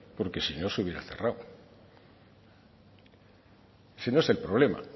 porque si no se hubiera cerrado ese no es el problema